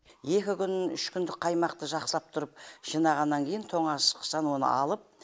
екі күн үш күндік қаймақты жақсылап тұрып жинағаннан кейін тоңазытқыштан оны алып